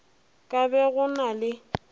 ka be go na le